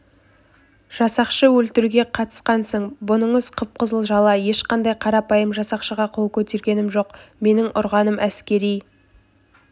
жасақшы өлтіруге қатысқансың бұныңыз қып-қызыл жала ешқандай қарапайым жасақшыға қол көтергенім жоқ менің ұрғаным әскери